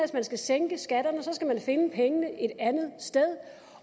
man skal sænke skatterne skal man finde pengene et andet sted